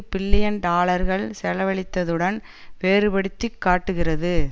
billion டாலர்கள் செலவழித்ததுடன் வேறுபடுத்தி காட்டுகிறது